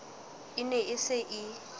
e ne e se e